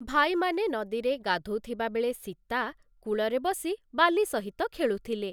ଭାଇମାନେ ନଦୀରେ ଗାଧୋଉଥିବା ବେଳେ ସୀତା କୂଳରେ ବସି ବାଲି ସହିତ ଖେଳୁଥିଲେ ।